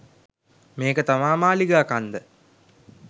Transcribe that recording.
මේක තමා මාලිගා කන්ද